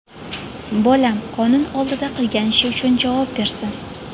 Bolam qonun oldida qilgan ishi uchun javob bersin.